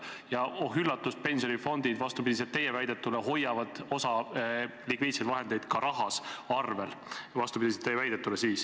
Ja oh üllatust, pensionifondid vastupidi teie väidetule hoiavad osa likviidseid vahendeid ka rahas arvel.